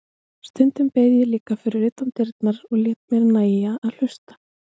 Stundum beið ég líka fyrir utan dyrnar og lét mér nægja að hlusta.